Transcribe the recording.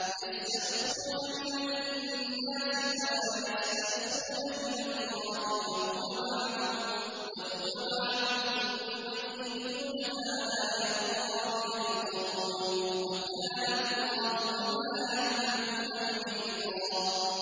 يَسْتَخْفُونَ مِنَ النَّاسِ وَلَا يَسْتَخْفُونَ مِنَ اللَّهِ وَهُوَ مَعَهُمْ إِذْ يُبَيِّتُونَ مَا لَا يَرْضَىٰ مِنَ الْقَوْلِ ۚ وَكَانَ اللَّهُ بِمَا يَعْمَلُونَ مُحِيطًا